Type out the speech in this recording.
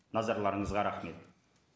назарларыңызға рахмет